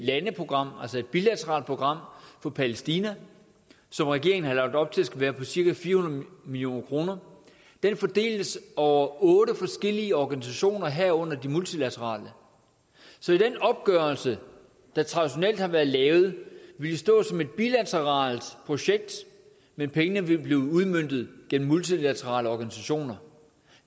landeprogram altså et bilateralt program for palæstina som regeringen har lagt op til skal være på cirka fire hundrede million kr fordeles over otte forskellige organisationer herunder de multilaterale så den opgørelse der traditionelt har været lavet ville stå som et bilateralt projekt men pengene vil blive udmøntet gennem multilaterale organisationer